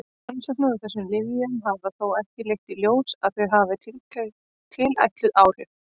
Rannsóknir á þessum lyfjum hafa þó ekki leitt í ljós að þau hafi tilætluð áhrif.